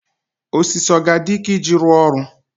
osisi ọ ga-adị ike iji rụọ ọrụ?